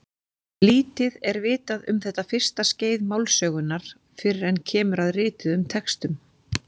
Lítið er vitað um þetta fyrsta skeið málsögunnar fyrr en kemur að rituðum textum.